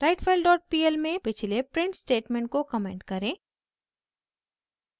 writefilepl में पिछले print statement को कमेंट करें